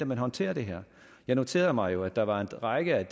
man håndterer det her jeg noterede mig jo at der var en række af